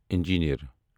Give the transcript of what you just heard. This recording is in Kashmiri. انجیٖنر